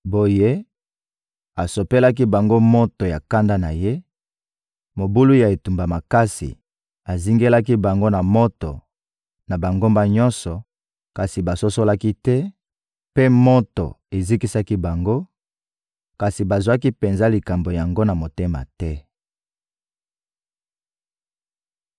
Boye, asopelaki bango moto ya kanda na Ye, mobulu ya etumba makasi; azingelaki bango na moto na bangambo nyonso, kasi basosolaki te; mpe moto ezikisaki bango, kasi bazwaki penza likambo yango na motema te.